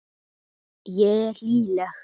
Ég er hlýleg.